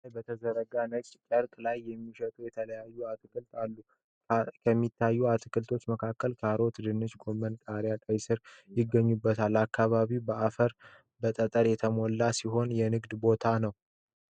መሬት ላይ በተዘረጋ ነጭ ጨርቅ ላይ የሚሸጡ የተለያዩ አትክልቶችን አሉ። ከሚታዩት አትክልቶች መካከል ካሮት፣ ድንች፣ ጎመን፣ ቃሪያና ቀይስር ይገኙበታል። አከባቢው በአፈርና በጠጠር የተሞላ ሲሆን የንግድ ቦታ ነው።